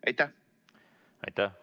Aitäh!